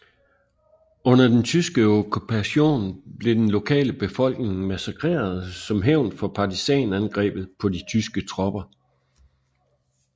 Under den tyske okkupation blev den lokale befolkning massakreret som hævn for partisanangrebet på de tyske tropper